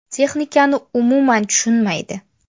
Texnikani umuman tushunmaydi.